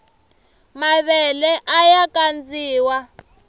mavele aya kandziwa